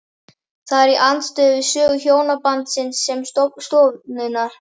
Það er í andstöðu við sögu hjónabandsins sem stofnunar.